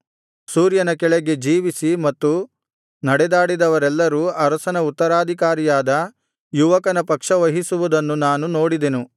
ಸೂರ್ಯನ ಕೆಳಗೆ ಜೀವಿಸಿ ಮತ್ತು ನಡೆದಾಡಿದವರೆಲ್ಲರೂ ಅರಸನ ಉತ್ತರಾಧಿಕಾರಿಯಾದ ಯುವಕನ ಪಕ್ಷವಹಿಸುವುದನ್ನು ನಾನು ನೋಡಿದೆನು